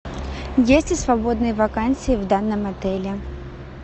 есть ли свободные вакансии в данном отеле